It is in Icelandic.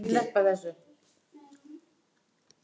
Finnst þér það nægur tími?